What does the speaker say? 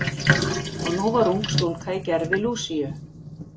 Og nú var ung stúlka í gervi Lúsíu.